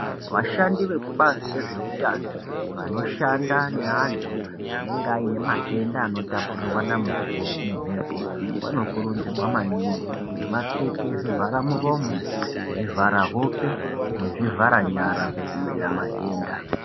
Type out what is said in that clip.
Vashandi vekubazi rezveutano vanoshanda neantu anenga aine matenda anotapurirwa na muho mumhepo vanokurudzirwa maningi kuti vapfeke zvivhara muromo zvivhara hope nezvivhara nyara kuti vadziirire matenda.